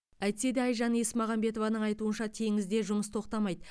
әйтсе де айжан есмағамбетованың айтуынша теңізде жұмыс тоқтамайды